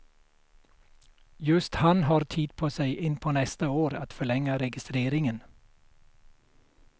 Just han har tid på sig in på nästa år att förlänga registreringen.